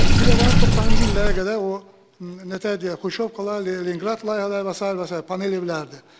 Bir də var 90-cı illərə qədər o, nə deyək, xruşşovkalar, Leninqrad layihələri və sair və sair panel evlərdir.